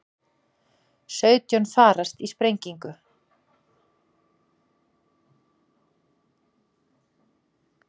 Sautján farast í sprengingu